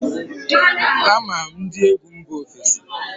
Ama m ndị egwu mba ofesi